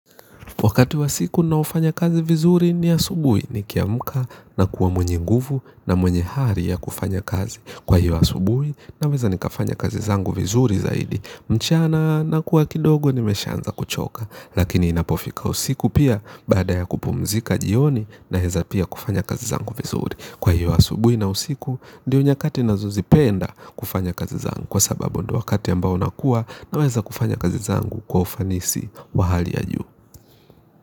Wakati wa siku na naofanya kazi vizuri ni asubuhi ni kiamka na kuwa mwenye nguvu na mwenye hari ya kufanya kazi. Kwa hiyo asubui na weza nikafanya kazi zangu vizuri zaidi mchana na kuwa kidogo nimeshaanza kuchoka. Lakini inapofika usiku pia baada ya kupumzika jioni naeza pia kufanya kazi zangu vizuri. Kwa hiyo asubuhi na usiku ndiyo nyakati nazozipenda kufanya kazi zangu kwa sababu ndio wakati ambao nakua na weza kufanya kazi zangu kwa ufanisi wa hali ya juu.